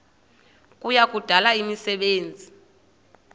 kuya kudala imisebenzi